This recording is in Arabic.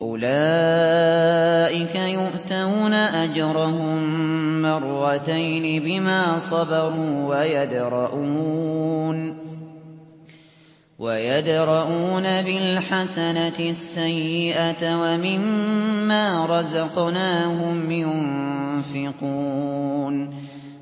أُولَٰئِكَ يُؤْتَوْنَ أَجْرَهُم مَّرَّتَيْنِ بِمَا صَبَرُوا وَيَدْرَءُونَ بِالْحَسَنَةِ السَّيِّئَةَ وَمِمَّا رَزَقْنَاهُمْ يُنفِقُونَ